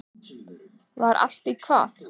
Var allt í hvað?